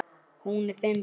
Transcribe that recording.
Hún á fimm börn.